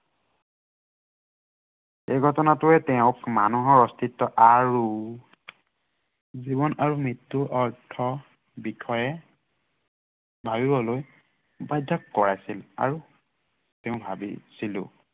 এই ঘটনাটোৱে তেওঁক মানুহৰ অস্তিত্ব আৰু জীৱন আৰু মৃত্য়ুৰ বিষয়ে ভাবিবলৈ বাধ্য় কৰাইছিল। আৰু তেওঁ ভাবিছিলো।